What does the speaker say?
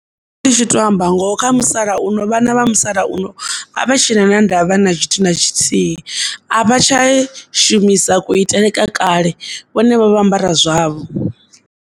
Ndi tshi to amba ngoho kha musalauno vhana vha musalauno a vha tshena na ndavha na tshithu na tshithihi, a vha tsha shumisa kuitele kwa kale vhone vha vho ambara zwavho.